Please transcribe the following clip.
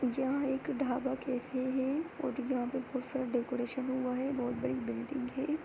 यह एक ढाबा कैफे है और यहाँ पर बहोत सारा डैकोरेशन हुआ है बहोत बड़ी बिल्डिंग है।